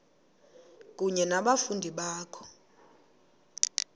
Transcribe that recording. kunye nabafundi bakho